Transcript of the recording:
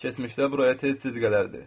Keçmişdə buraya tez-tez gələrdi.